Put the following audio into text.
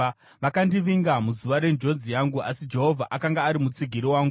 Vakandivinga muzuva renjodzi yangu, asi Jehovha akanga ari mutsigiri wangu.